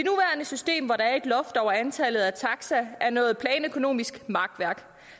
system hvor der er et loft over antallet af taxaer er noget planøkonomisk makværk